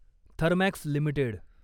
Thermax limited